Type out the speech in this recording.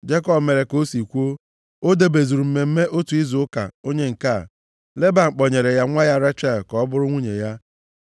Jekọb mere ka o si kwuo. O debezuru mmemme otu izu ụka onye nke a, Leban kpọnyere ya nwa ya Rechel ka ọ bụrụ nwunye ya.